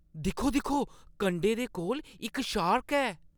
दिक्खो-दिक्खो! कंढे दे कोल इक शार्क ऐ!